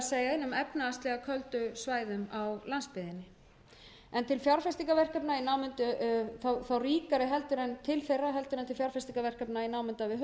köldu svæðum á landsbyggðinni en til fjárfestingarverkefna og þá ríkari heldur en til þeirra heldur en til fjárfestingarverkefna í námunda við höfuðborgarsvæðið